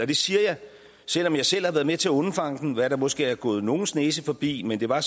det siger jeg selv om jeg selv har været med til at undfange den hvad der måske er gået nogles næse forbi men det var